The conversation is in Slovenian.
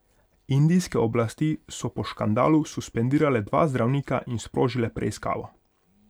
Indijske oblasti so po škandalu suspendirale dva zdravnika in sprožile preiskavo.